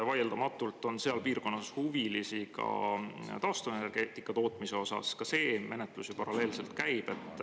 Vaieldamatult on seal piirkonnas ka taastuvenergeetika tootmise huvilisi, ka see menetlus ju paralleelselt käib.